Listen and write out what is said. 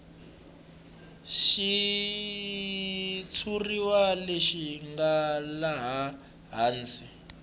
xitshuriwa lexi nga laha hansi